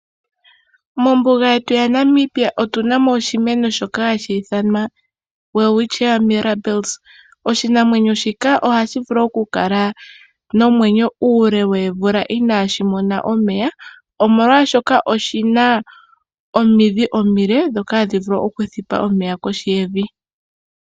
Mombuga yetu yaNamibia otu namo oshimeno shoka hashi ithanwa Welwitchia Mirabilis. Oshimeno shika ohashi vulu oku kala nomwenyo uule woomvula inaashi mona omeya. Omolwaashoka oshina omidhi omile dhoka hadhi vulu oku thipa omeya kohi yevi.